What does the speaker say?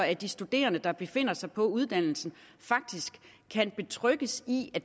at de studerende der befinder sig på uddannelserne faktisk kan betrygges i at